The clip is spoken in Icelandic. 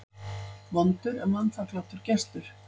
Vondur er vanþakklátur gestur.